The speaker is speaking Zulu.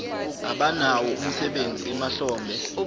abanawo umsebenzi emahlombe